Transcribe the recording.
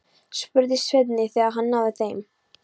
spurði Svenni, þegar hann náði þeim.